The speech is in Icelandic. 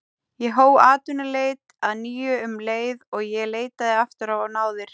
Ég hóf atvinnuleit að nýju um leið og ég leitaði aftur á náðir